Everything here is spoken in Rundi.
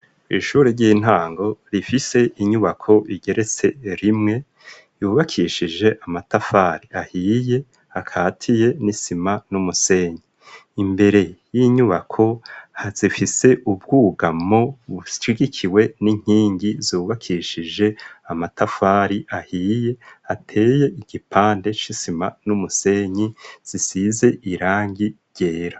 Ishure ry'intango rifise inyubako rigeretse rimwe ryubakishije amatafari ahiye akatiye n'isima n'umusenyi. Imbere y'inyubako hazifise ubwugamo bushigikiwe n'inkingi zubakishije amatafari ahiye ateye igipande c'isima n'umusenyi zisize irangi ryera.